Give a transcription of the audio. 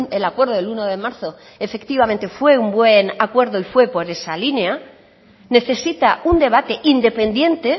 el acuerdo del uno de marzo efectivamente fue un buen acuerdo y fue por esa línea necesita un debate independiente